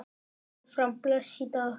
Áfram blæs í dag.